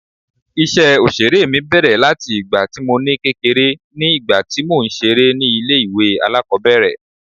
Ìṣe Òṣèré mi bẹ̀rẹ̀ láti ìgbà tí mo ní kékeré ní ìgbà tí mò ń ṣeré ni ilé ìwé alákòbẹ̀rẹ̀.